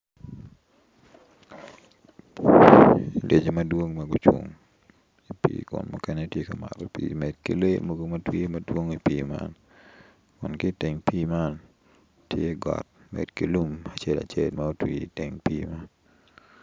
Lyecci madwong ma gucung i pii kun mukene ti ka mato pii med ki lee mogo tye madwong i pii man kun ki iteng pii man tye got med ki lum acel acel ma otwii iteng pii man